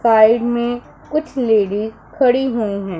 Side में कुछ ladies खड़ी हुई है।